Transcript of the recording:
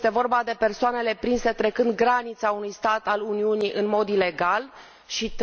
este vorba de persoanele prinse trecând granița unui stat al Uniunii în mod ilegal și